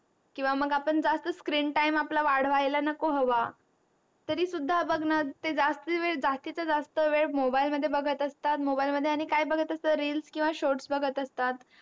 किवा मग आपण जास्त screen time आपला वाढवायला नको हवा तरी सुद्धा बग णा ते जास्ती वेळ जास्तीच जास्त वेळ mobile मध्ये बगत असतात, mobile मध्ये आणि काय बगत असतात, reels किंवा shorts बगत असतात.